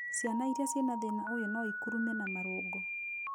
Ciana irĩa ciĩna thĩna ũyũ noikurume na marũngo